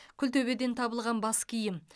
күлтөбеден табылған бас киім